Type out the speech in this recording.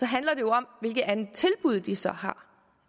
handler det om hvilket andet tilbud de så har